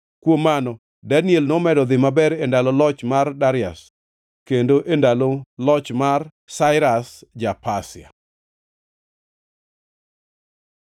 Kuom mano Daniel nomedo dhi maber e ndalo loch mar Darius kendo e ndalo loch mar Sairas ja-Pasia.